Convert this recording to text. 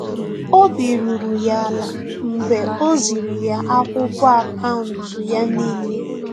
Obi ruru ya ala mgbe o ziri ya akwụkwọ akaụntụ ya n'ile